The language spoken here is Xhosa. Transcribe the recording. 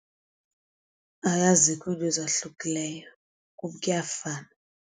Hayi azikho ke ezahlukilelyo, kum kuyafana.